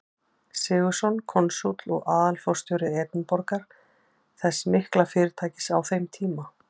Sigurðsson, konsúll og aðalforstjóri Edinborgar, þess mikla fyrirtækis á þeim tíma.